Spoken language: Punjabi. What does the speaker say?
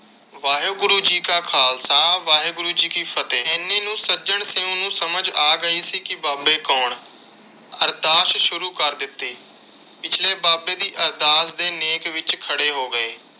ਵਾਹਿਗੁਰੂ ਜੀ ਕਾ ਖ਼ਾਲਸਾ ਵਾਹਿਗੁਰੂ ਜੀ ਕੀ ਫਤਹਿ। ਇੰਨੇ ਨੂੰ ਸੱਜਣ ਸਿੰਘ ਨੂੰ ਸਮਝ ਗਈ ਸੀ ਕਿ ਬਾਬੇ ਕੌਣ। ਅਰਦਾਸ ਸ਼ੁਰੂ ਕਰ ਦਿੱਤੀ। ਪਿਛਲੇ ਬਾਬੇ ਦੀ ਅਰਦਾਸ ਦੇ ਨੇਕ ਵਿਚ ਖੜੇ ਹੋ ਗਏ।